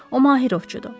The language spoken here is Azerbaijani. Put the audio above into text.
O Mahirovçudur.